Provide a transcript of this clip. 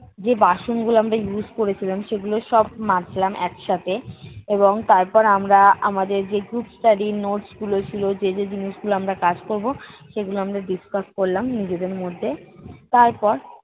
যে বাসনগুলো আমরা use করেছিলাম সেগুলো সব মাজলাম একসাথে। এবং তারপর আমরা আমাদের যে group study র notes গুলো ছিল যে যে জিনিস গুলো আমরা কাজ করবো সেগুলো আমরা discuss করলাম নিজেদের মধ্যে। তারপর